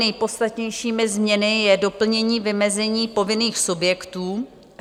Nejpodstatnějšími změnami je doplnění vymezení povinných subjektů.